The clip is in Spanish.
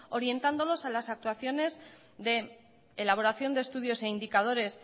orientándolos a las actuaciones de elaboración de estudios e indicadores